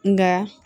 Nka